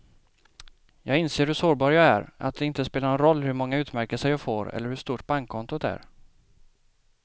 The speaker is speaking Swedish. Jag inser hur sårbar jag är, att det inte spelar någon roll hur många utmärkelser jag får eller hur stort bankkontot är.